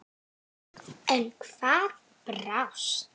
En hvað brást?